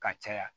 Ka caya